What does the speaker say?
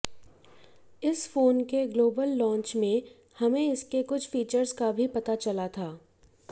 इस फोन के global launch में हमें इसके कुछ फीचर्स का भी पता चला था